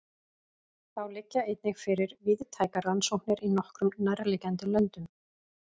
Þá liggja einnig fyrir víðtækar rannsóknir í nokkrum nærliggjandi löndum.